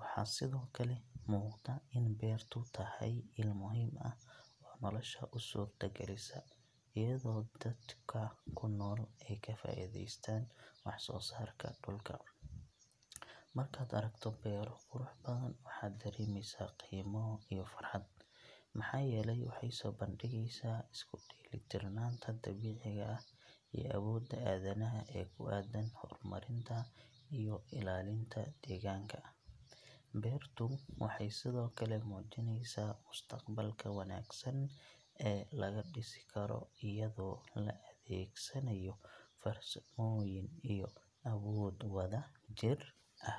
Waxaa sidoo kale muuqda in beertu tahay il muhiim ah oo nolosha u suurtagelisa, iyadoo dadka ku nool ay ka faa’iidaystaan waxsoosaarka dhulka. Markaad aragto beero qurux badan, waxaad dareemaysaa qiimo iyo farxad, maxaa yeelay waxay soo bandhigaysaa isku dheelitirnaanta dabiiciga ah iyo awoodda aadanaha ee ku aaddan horumarinta iyo ilaalinta deegaanka. Beertu waxay sidoo kale muujinaysaa mustaqbalka wanaagsan ee laga dhisi karo iyadoo la adeegsanayo farsamooyin iyo awood wadajir ah.